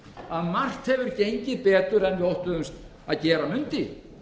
að margt hefur gengið betur en við óttuðumst að gera mundi